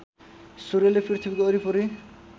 सूर्यले पृथ्वीको वरिपरि